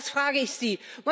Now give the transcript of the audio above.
Das frage ich Sie.